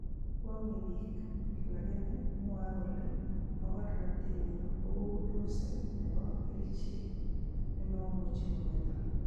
Kwong'e biik lakini mwoe kole mogornotenyin kou dose nebo kerichek nemomuchi Kometo.